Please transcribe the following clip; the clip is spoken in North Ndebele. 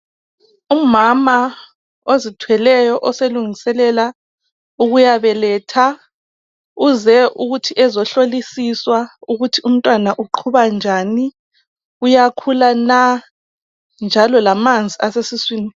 umama ozithweleyo olungiselela ukuya beletha uze ukuthi ezohlolisiwa ukuthi umntwana uqhuba njani uyakhula na? njalo lamanzi asesiswini